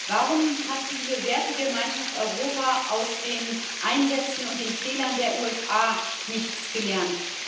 Warum hat diese Wertegemeinschaft Europa aus den Einsätzen und den Fehlern der USA nichts gelernt?